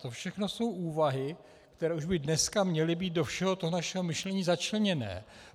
To všechno jsou úvahy, které by už dneska měly být do všeho toho našeho myšlení začleněné.